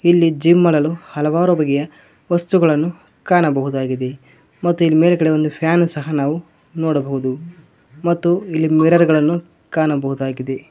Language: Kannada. ಇಲ್ಲಿ ಜಿಮ್ ಮಾಡಲು ಹಲವಾರು ಬಗೆಯ ವಸ್ತುಗಳನ್ನು ಕಾಣಬಹುದಾಗಿದೆ ಮತ್ತು ಇಲ್ ಮೇಲ್ಗಡೆ ಒಂದ್ ಫ್ಯಾನ್ ಸಹ ನೋಡಬಹುದು ಮತ್ತು ಇಲ್ಲಿ ಮಿರರ್ ಗಳನ್ನು ಕಾಣಬಹುದಾಗಿದೆ.